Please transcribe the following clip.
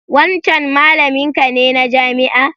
Wancan malaminka ne na jami'a?